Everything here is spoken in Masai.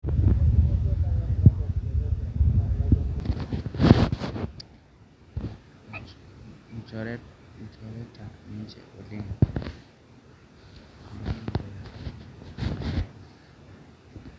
Lnjoreta ninje oleng